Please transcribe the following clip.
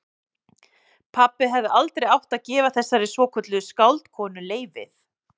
Pabbi hefði aldrei átt að gefa þessari svokölluðu skáldkonu leyfið.